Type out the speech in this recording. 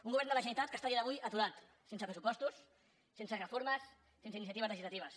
un govern de la generalitat que està a dia d’avui aturat sense pressupostos sense reformes sense iniciatives legislatives